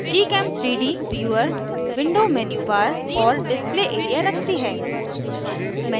gchem3d viewer window menubar और display area रखती है